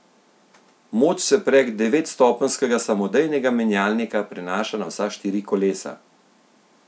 Moč se prek devetstopenjskega samodejnega menjalnika prenaša na vsa štiri kolesa.